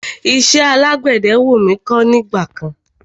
Iṣẹ́ àgbẹ̀dẹ wú mí kọ́ ní ìgbà kan.